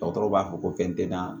Dɔgɔtɔrɔw b'a fɔ ko fɛn tɛ da